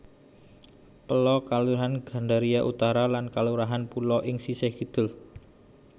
Pela Kalurahan Gandaria Utara lan Kalurahan Pulo ing sisih kidul